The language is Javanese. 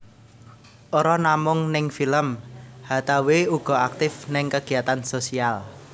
Ora namung ning film Hathaway uga aktif ning kegiatan sosial